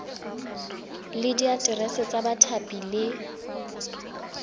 le diaterese tsa bathapi le